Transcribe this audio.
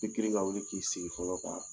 ka wuli k'i sigi fɔlɔ